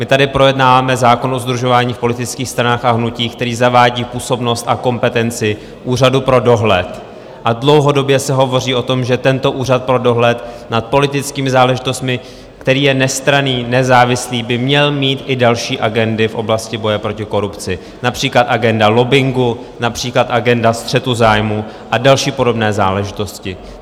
My tady projednáváme zákon o sdružování v politických stranách a hnutích, který zavádí působnost a kompetenci úřadu pro dohled, a dlouhodobě se hovoří o tom, že tento úřad pro dohled nad politickými záležitostmi, který je nestranný, nezávislý, by měl mít i další agendy v oblasti boje proti korupci, například agenda lobbingu, například agenda střetu zájmů a další podobné záležitosti.